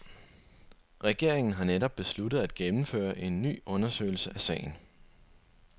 Regeringen har netop besluttet at gennemføre en ny undersøgelse af sagen.